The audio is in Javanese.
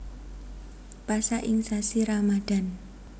Pasa ing sasi Ramadhan